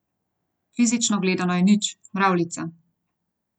Fizično gledano je nič, mravljica ...